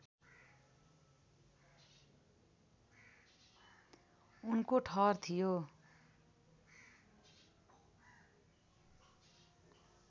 उनको ठहर थियो